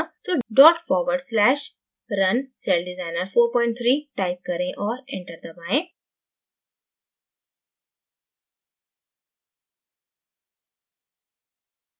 तो dot forward slash runcelldesigner43 type करें और enter दबायें